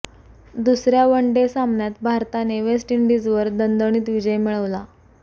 दुसऱ्या one day सामन्यात भारताने वेस्ट इंडिजवर दणदणीत विजय मिळवला